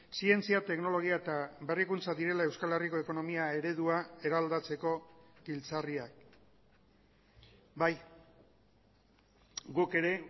zientzia teknologia eta berrikuntza direla euskal herriko ekonomia eredua eraldatzeko giltzarriak bai guk ere